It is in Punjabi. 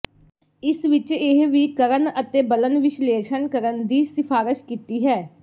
ਇਸ ਵਿਚ ਇਹ ਵੀ ਕਰਨ ਅਤੇ ਬਲਨ ਵਿਸ਼ਲੇਸ਼ਣ ਕਰਨ ਦੀ ਸਿਫਾਰਸ਼ ਕੀਤੀ ਹੈ